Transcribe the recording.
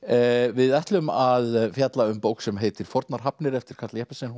við ætlum að fjalla um bók sem heitir fornar hafnir eftir Karl Jeppesen